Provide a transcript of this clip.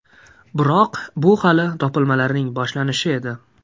Biroq bu hali topilmalarning boshlanishi edi.